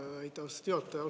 Aitäh, austatud juhataja!